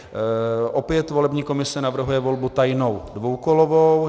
Opět volební komise navrhuje volbu tajnou dvoukolovou.